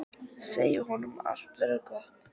Segja honum að allt verði gott.